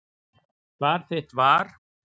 Svar þitt var.